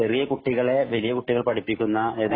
ചെറിയ കുട്ടികളെ വലിയ കുട്ടികൾ പഠിപ്പിക്കുന്ന